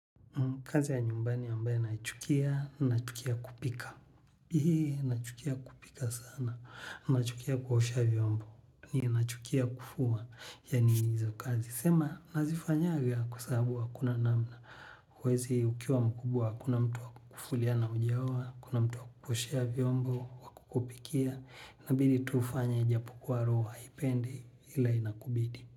Kazi ya nyumbani ambae naichukia, nachukia kupika hii nachukia kupika sana. Na chukia kuhosha vyombo. Ni na chukia kufua, yani hizo kazi. Sema, nazifanyaga kwasababu wa hakuna namna. Huwezi ukiwa mkubwa akuna mtu wa kukufulia na hujaoa hakuna mtu wakukuoshea viombo wa kukupikia inaabidi tu ufanye japokuwa roho haipendi ila inakubidi.